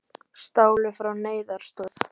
Stálu frá neyðaraðstoð